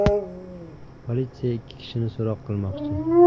Politsiya ikki kishini so‘roq qilmoqchi.